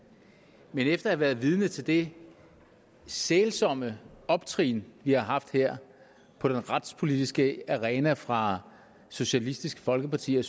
men efter at have været vidne til det sælsomme optrin vi har haft her på den retspolitiske arena fra socialistisk folkeparti og